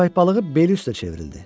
Köpək balığı beli üstə çevrildi.